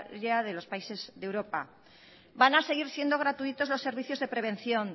de los países de europa van a seguir siendo gratuitos los servicios de prevención